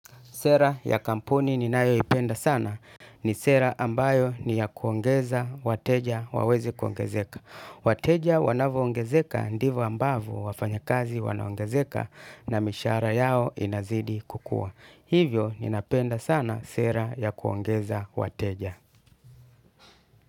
Sera ya kampuni ninayo ipenda sana ni sera ambayo ni ya kuongeza wateja waweze kuongezeka. Wateja wanavyo ongezeka ndivyo ambavyo wafanyakazi wanaongezeka na mishara yao inazidi kukua. Hivyo ninapenda sana sera ya kuongeza wateja.